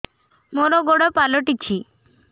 ମୋର ଗୋଡ଼ ପାଲଟିଛି